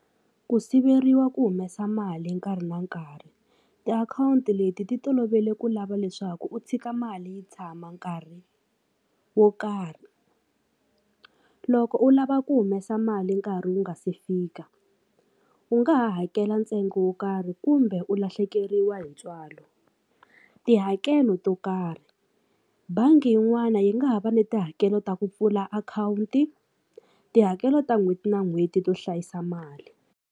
Ku siveriwa ku humesa mali nkarhi na nkarhi tiakhawunti leti ti tolovele ku lava leswaku u tshika mali yi tshama nkarhi wo karhi loko u lava ku humesa mali nkarhi wu nga se fika u nga hakela ntsengo wo karhi kumbe u lahlekeriwa hi ntswalo tihakelo to karhi bangi yin'wani yi nga ha va ni tihakelo ta ku pfula akhawunti tihakelo ta n'hweti na n'hweti to hlayisa mali.